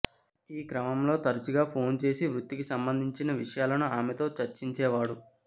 ఈ క్రమంలో తరచుగా ఫోన్ చేసి వృత్తికి సంబంధించిన విషయాలను ఆమెతో చర్చించేవాడు